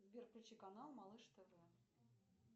сбер включи канал малыш тв